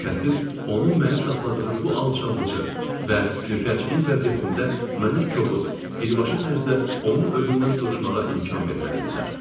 Şübhəsiz, onun məni saxladığı bu alçaldıcı və nökərçilik vəziyyətində mənə kobud, birbaşa tərzdə onun özündən soruşmağa imkan verməli idilər.